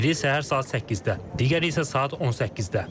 Biri səhər saat 8-də, digəri isə saat 18-də.